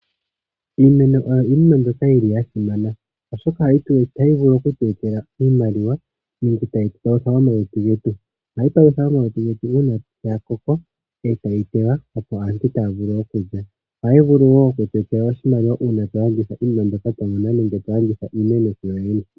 Iimeno oyo iinima mbyoka yili yasimana oshoka ohayi vulu okutu etela iimaliwa nenge tayi palutha omaluntu getu. Ohayi palutha omaluntu getu uuna yakoko etayi tewa opo aantu taya vulu okulya ohayi vulu wo okutu etela oshimaliwa uuna twa landitha iinima mbyoka iyiima nenge twa landitha iimeno yoyene.